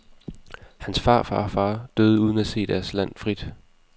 Hans farfar og far døde uden at se deres land frit.